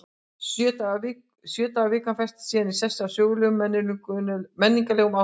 Sjö daga vikan festist síðan í sessi af sögulegum og menningarlegum ástæðum.